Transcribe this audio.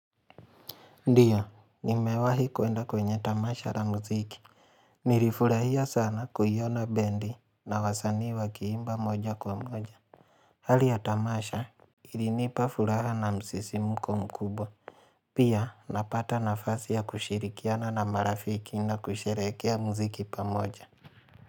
Ndiyo, nimewahi kuenda kwenye tamasha la muziki. Nilifurahia sana kuiona bendi na wasanii wakiimba moja kwa moja. Hali ya tamasha, ilinipa furaha na msisimko mkubwa. Pia, napata nafasi ya kushirikiana na marafiki na kusherekea muziki pamoja.